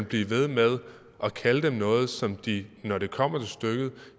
blive ved med at kalde noget som de når det kommer stykket